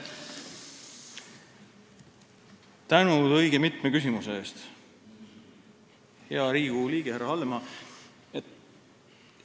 Tänan õige mitme küsimuse eest, hea Riigikogu liige härra Hallemaa!